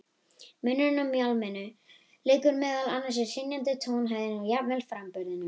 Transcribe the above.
Munurinn á mjálminu liggur meðal annars í hrynjandinni, tónhæðinni og jafnvel framburðinum.